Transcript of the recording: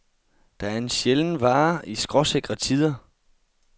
Det er en sjælden vare i skråsikre tider.